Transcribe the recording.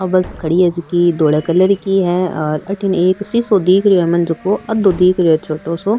आ bus खड़ी है जेकी धोला कलर की है अठन एक शिशो दिख रो है मन झको आधों दिख रो है छोटो सो।